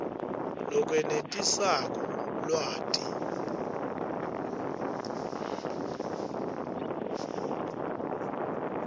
lokwenetisako lwati